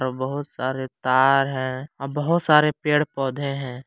और बहुत सारे तार हैं और बहुत सारे पेड़ पौधें हैं।